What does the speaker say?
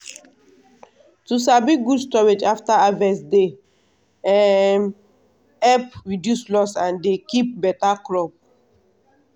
to sabi good storage after harvest dey um help reduce loss and dey keep beta crop.